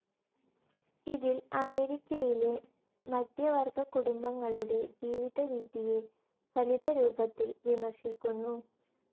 ഇതിൽ അമേരിക്കയിലെ മധ്യവർഗ കുടുംബങ്ങളുടെ ജീവിതരീതിയെ ഫലിതരൂപത്തിൽ വിമർശിക്കുന്നു.